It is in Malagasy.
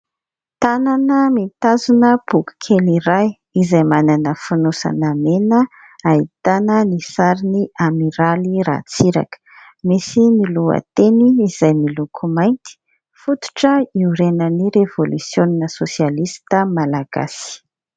Tanana mitazona boky kely iray izay manana fonosana mena, ahitana ny sarin'ny Amiraly Ratsiraka. Misy ny lohateny izay miloko mainty, fototra iorenan'ny revolisiona sosialista Malagasy.